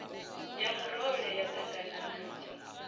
ya murole ya ṱangana nadzo